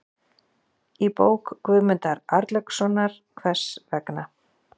Í bók Guðmundar Arnlaugssonar, Hvers vegna?